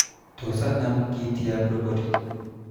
Tod anam kitiab robotit